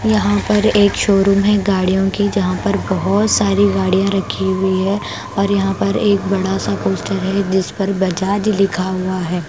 यहां पर एक शोरूम है गाड़ियों की जहां पर बहुत सारी गाड़ियां रखी हुई है और यहां पर एक बड़ा सा पोस्टर है जिस पर बजाज लिखा हुआ हैं।